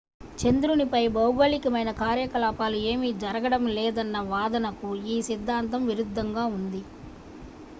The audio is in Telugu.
చంద్రునిపై భౌగోళికమైన కార్యకలాపాలు ఏమీ జరగడం లేదన్న వాదనకు ఈ సిద్ధాంతం విరుద్ధంగా ఉంది